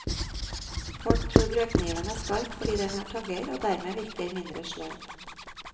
Folk tror brødkniven er skarp fordi den har tagger, og dermed virker mindre sløv.